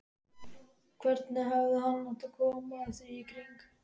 Hvernig hefði hann átt að koma því í kring?